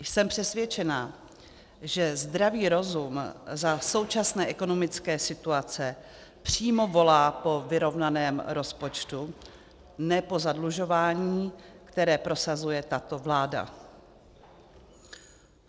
Jsem přesvědčena, že zdravý rozum za současné ekonomické situace přímo volá po vyrovnaném rozpočtu, ne po zadlužování, které prosazuje tato vláda.